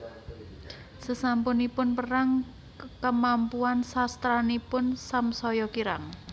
Sasampunipun perang kamampuan sastranipun samsaya kirang